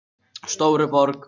Stóruborg